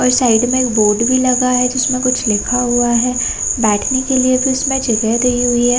और साइड में एक बोर्ड भी लगा है जिसमें कुछ लिखा हुआ है बैठने के लिए भी उसमें जगह दी हुई हैं |